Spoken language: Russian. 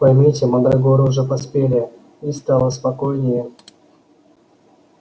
поймите мандрагоры уже поспели и стало спокойнее